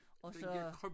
Og så